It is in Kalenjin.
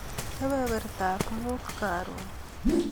Kebebertap muut karon.